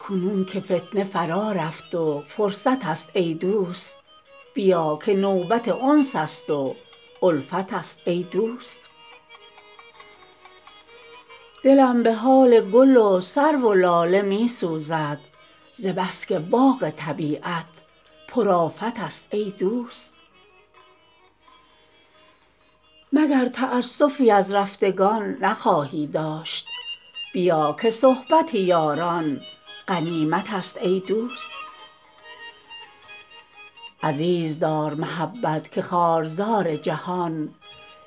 کنون که فتنه فرا رفت و فرصت است ای دوست بیا که نوبت انس است و الفت است ای دوست مباز فرصت خو گر فراستی داری که فتنه منتظر وقت و فرصت است ای دوست دلم به حال گل و سرو و لاله می سوزد ز بس که باغ طبیعت پرآفت است ای دوست مگر تاسفی از رفتگان نخواهی داشت بیا که صحبت یاران غنیمت است ای دوست عزیز دار محبت که خارزار جهان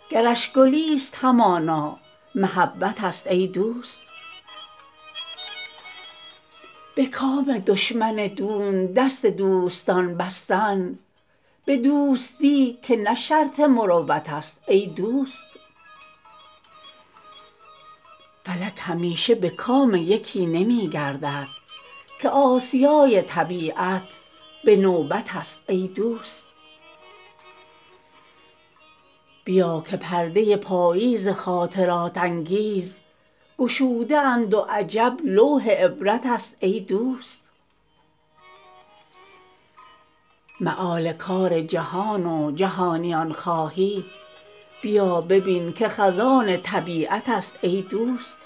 گرش گلی ست همانا محبت است ای دوست به کام دشمن دون دست دوستان بستن به دوستی که نه شرط مروت است ای دوست فلک همیشه به کام یکی نمی گردد که آسیای طبیعت به نوبت است ای دوست تهی شود ز گل و خار آستین قضا به دامن من و تو تا چه قسمت است ای دوست بیا که پرده پاییز خاطرات انگیز گشوده اند و عجب لوح عبرت است ای دوست مآل کار جهان و جهانیان خواهی بیا ببین که خزان طبیعت است ای دوست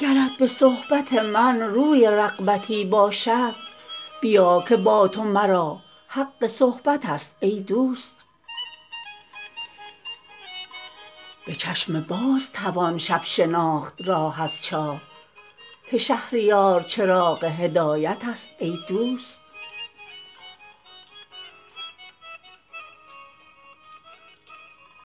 چراغ دیده بیدار پرتوی ندهد که چشم دل همه در خواب غفلت است ای دوست گناه بخت چه باشد که همتی کوتاست قبای بخت به بالای همت است ای دوست گرت به صحبت من روی رغبتی باشد بیا که با تو مرا حق صحبت است ای دوست جوان فطیر تواند شدن که صحبت پیر خمیرمایه خباز فطرت است ای دوست به چشم باز توان شب شناخت راه از چاه که شهریار چراغ هدایت است ای دوست